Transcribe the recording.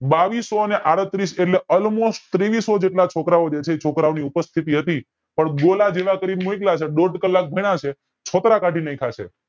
બાવીસો ને આડત્રીસ એટલે almost તેવીસો છોકરાઓ જે છે છોકરાઓ ની ઉપસ્તીથી હતી પણ કરી ને મોકલ્યા છે દોઢ કલાક ભણ્યા છે છોતરા કાઢી નાખ્યા છે